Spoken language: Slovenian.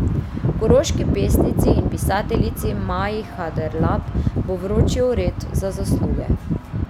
Koroški pesnici in pisateljici Maji Haderlap bo vročil red za zasluge.